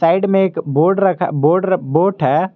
And में एक board रखा बोर्ड बोट है।